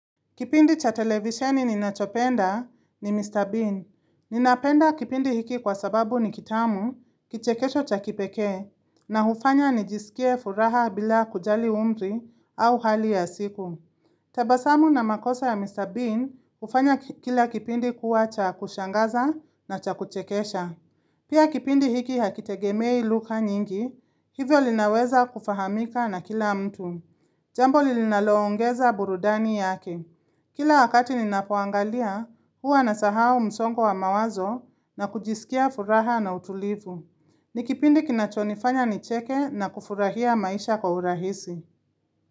Kipindi cha televisioni ninachopenda ni Mr. Bean. Ninapenda kipindi hiki kwa sababu ni kitamu, kichekesho cha kipekee, na hufanya nijisikie furaha bila kujali umri au hali ya siku. Tabasamu na makosa ya Mr. Bean hufanya kila kipindi kuwa cha kushangaza na cha kuchekesha. Pia kipindi hiki hakitegemei luka nyingi, hivyo linaweza kufahamika na kila mtu. Jambo lilinaloongeza burudani yake. Kila wakati ninapoangalia, huwa nasahao msongo wa mawazo na kujisikia furaha na utulivu. Ni kipindi kinachonifanya nicheke na kufurahia maisha kwa urahisi.